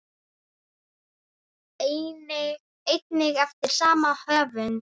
einnig eftir sama höfund.